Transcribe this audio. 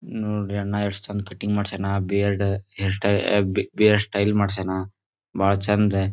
ನೋಡ್ರಿ ಅಣ್ಣ ಎಷ್ಟ್ ಚೆಂದ ಕಟ್ಟಿಂಗ್ ಮಾಡಸ್ಯಾನ ಬೀರ್ಡ್ ಹೇರ್ ಸ್ಟೈಲ್ ಬಿ ಹೇರ್ ಸ್ಟೈಲ್ ಮಾಡಸ್ಯಾನ. ಬಾಳ ಚೆಂದ--